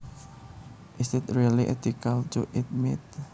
Is it really ethical to eat meat